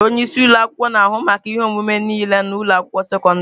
Onye isi ụlọ akwụkwọ na-ahụ maka ihe omume niile na ụlọ akwụkwọ sekọndrị.